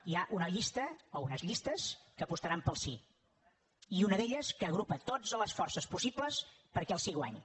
hi ha una llista o unes llistes que apostaran pel sí i una d’elles que agrupa totes les forces possibles perquè el sí guanyi